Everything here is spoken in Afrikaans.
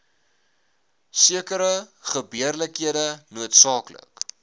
sekere gebeurlikhede noodsaaklik